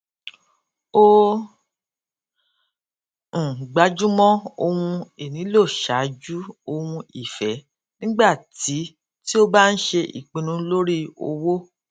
ó um gbájúmọ ohun ìnílò ṣáájú ohun ìfẹ nígbà tí tí ó bá ń ṣe ìpinnu lórí owó